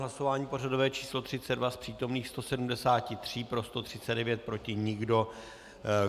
Hlasování pořadové číslo 32, z přítomných 173 pro 139, proti nikdo.